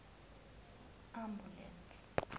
ambulense